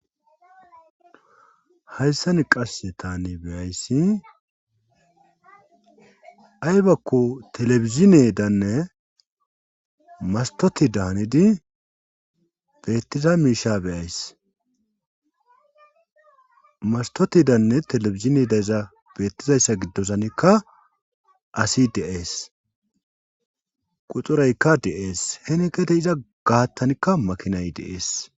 hayssan qasse tane beyayssi aybakko telebizine danne mastoti daanidi beettiza miisha beyaysmastoti danne telebizine dayza beettizayssa giddozanikka asi deees qucuraykka de7ees henikete iza gaattanikka makinay deees